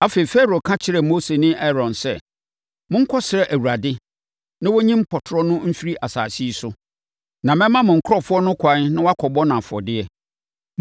Afei, Farao ka kyerɛɛ Mose ne Aaron sɛ, “Monkɔsrɛ Awurade na ɔnyi mpɔtorɔ no mfiri asase yi so, na mɛma mo nkurɔfoɔ no ɛkwan na wɔakɔbɔ no afɔdeɛ.”